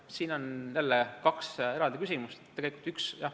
Siin on jälle kaks eraldi küsimust.